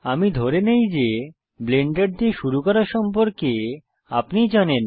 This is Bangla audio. আমি ধরি যে ব্লেন্ডার দিয়ে শুরু করা সম্পর্কে আপনি জানেন